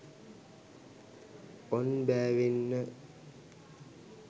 on බෑවෙන්න